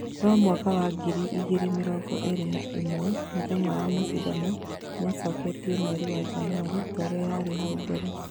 No mwaka wa ngiri igĩrĩ mĩrongo ĩrĩ na ĩmwe mũthenya wa macindano nĩĩcoketio mweri wa Janũarĩ torĩa yarĩ hau kabere